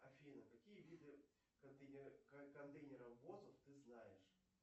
афина какие виды контейнеровозов ты знаешь